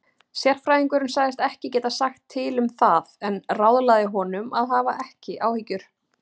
Sérfræðingurinn sagðist ekki geta sagt til um það en ráðlagði honum að hafa ekki áhyggjur.